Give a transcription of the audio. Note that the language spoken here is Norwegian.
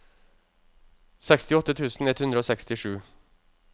sekstiåtte tusen ett hundre og sekstisju